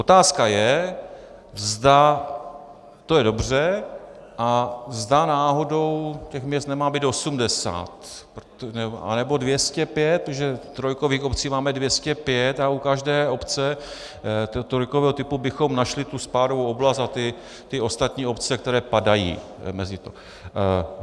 Otázka je, zda to je dobře a zda náhodou těch měst nemá být 80, nebo 205, protože trojkových obcí máme 205 a u každé obce trojkového typu bychom našli tu spádovou oblast a ty ostatní obce, které padají mezi to.